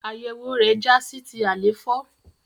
Àyẹwò rẹ já sí ti àléfọ.